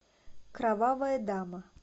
кровавая дама